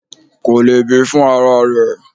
Kò le bí fún ara rẹ.